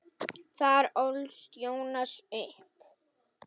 Þar ólst Jónas upp.